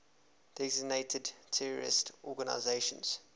designated terrorist organizations